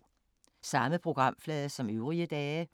Samme programflade som øvrige dage